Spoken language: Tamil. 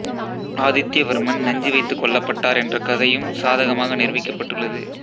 ஆதித்ய வர்மன் நஞ்சு வைத்து கொல்லப்பட்டார் என்ற கதையும் சாதகமாக நிரூபிக்கப்பட்டுள்ளது